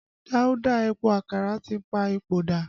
Dauda Epo Àkàrà tí pa ipò dà